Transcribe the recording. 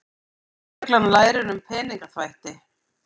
Lögreglan lærir um peningaþvætti